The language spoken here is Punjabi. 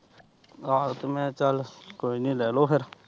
ਆਹੋ ਮੈਂ ਤੇ ਚੱਲ ਕੋਈ ਨੀ ਲੈ ਲੋ ਫਿਰ।